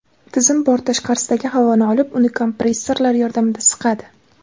Tizim bort tashqarisidagi havoni olib, uni kompressorlar yordamida siqadi.